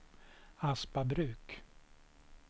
Aspabruk